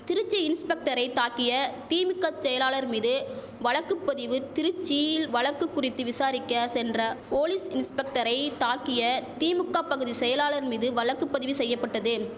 திருச்சி இன்ஸ்பெக்டரை தாக்கிய திமிக செயலாளர் மீது வழக்கு பதிவு திருச்சியில் வழக்கு குறித்து விசாரிக்க சென்ற போலீஸ் இன்ஸ்பெக்டரை தாக்கிய திமுக பகுதி செயலாளர் மீது வழக்கு பதிவு செய்யபட்டது